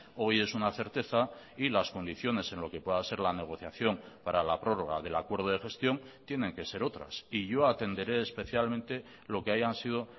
hoy es una certeza y las condiciones en lo que pueda ser la negociación para la prórroga del acuerdo de gestión tienen que ser otras y yo atenderé especialmente lo que hayan sido